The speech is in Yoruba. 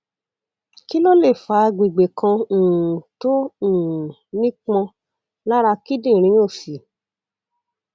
kí ló lè fa àgbègbè kan um tó um nípọn lára kíndìnrín òsì